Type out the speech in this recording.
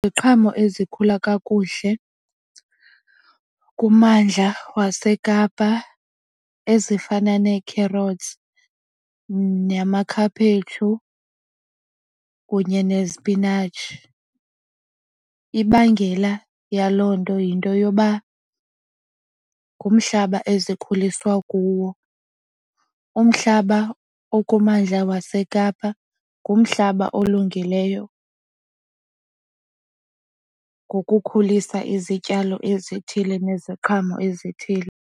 Iziqhamo ezikhula kakuhle kummandla waseKapa ezifana nekherothi namakhaphetshu kunye nezipinatshi. Ibangela yaloo nto yinto yoba ngumhlaba ezikhuliswa kuwo. Umhlaba okumandla waseKapa ngumhlaba olungileyo ngokukhulisa izityalo ezithile neziqhamo ezithile.